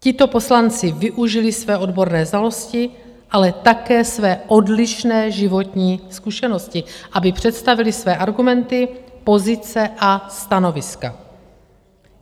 Tito poslanci využili své odborné znalosti, ale také své odlišné životní zkušenosti, aby představili své argumenty, pozice a stanoviska.